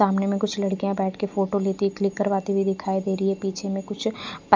सामने में कुछ लड़किया बैठ के फोटो लेते क्लिक करवाती दिखाई दे रही है पीछे में कुछ प--